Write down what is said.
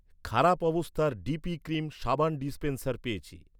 খারাপ অবস্থার DP cream সাবান ডিস্পেন্সার পেয়েছি।